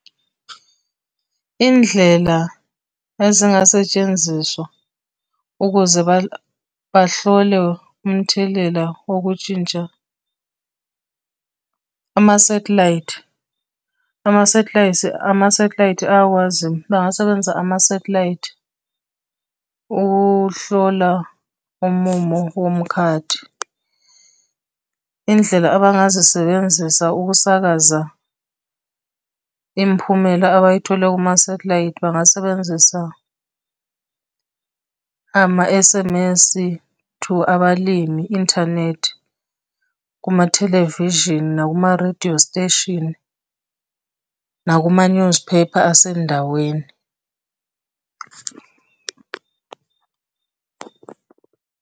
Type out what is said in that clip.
Indlela ezingasetshenziswa ukuze bahlole umthelela wokutshintsha, amasathelayithi, amasathelayithi, amasethilayithi ayakwazi bengasebenzisa amasathelayithi ukuhlola umumo womukhathi. Iy'ndlela abangazisebenzisa ukusakaza imiphumela abayithole kumasathelayithi bangasebenzisa, ama-S_M_S to abalimi, inthanethi, kumathelevishini, nakuma-radio station, nakuma-newspaper asendaweni.